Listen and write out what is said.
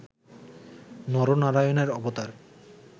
নর নারায়ণের অবতার